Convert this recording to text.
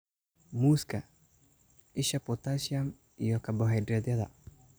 Muuska: Isha potassium iyo karbohaydraytyada.